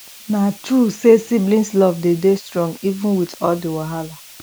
na true sey sibling love dey strong even wit all di wahala